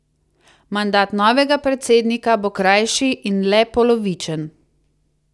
Mandat novega predsednika bo krajši in le polovičen.